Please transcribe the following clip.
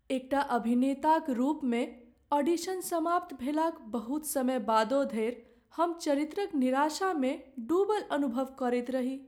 एकटा अभिनेताक रूपमे ऑडिशन समाप्त भेलाक बहुत समय बादो धरि हम चरित्रक निराशामे डूबल अनुभव करैत रही।